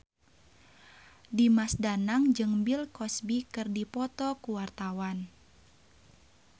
Dimas Danang jeung Bill Cosby keur dipoto ku wartawan